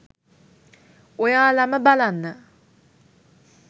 ඔයාලම බලන්න